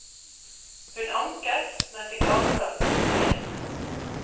Hun anket, men fikk avslag hos myndighetene.